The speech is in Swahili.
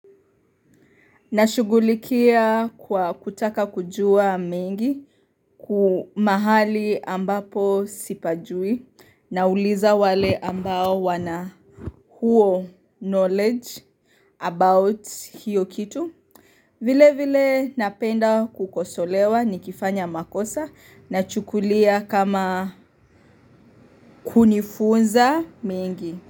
Nashugulikia kwa kutaka kujua mengi kumahali ambapo sipajui na uliza wale ambao wana huo knowledge about hiyo kitu. Vile vile napenda kukosolewa ni kifanya makosa na chukulia kama kunifunza mengi.